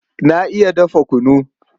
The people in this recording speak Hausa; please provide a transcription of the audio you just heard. Na iya dafa kunu.